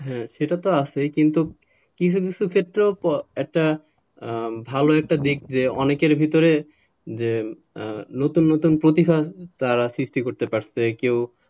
হ্যাঁ সেটা তো আছে কিন্তু কিছু কিছু ক্ষেত্রে একটা ভালো একটা দিক যে অনেকের ভেতরে যে নতুন নতুন প্রতিভা তারা সৃষ্টি করতে পারছে কেউ,